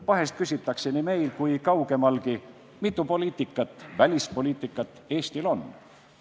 Vahest küsitakse nii meil kui kaugemalgi, mitu välispoliitikat Eestil on.